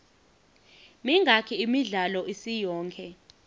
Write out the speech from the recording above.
mingaki imidlalo isiyonke